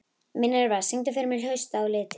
Minerva, syngdu fyrir mig „Haustið á liti“.